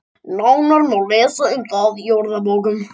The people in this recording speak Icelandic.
Nánar má lesa um það í orðabókum.